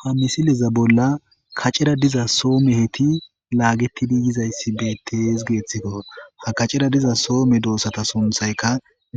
ha misileza bolla kacera diza soome heti laagettidi yizayssi beettees geeththikko ha kacera diza soome doossata sunthayka